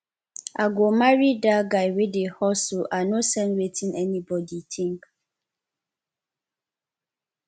i go marry dat guy wey dey hustle i no send wetin anybodi tink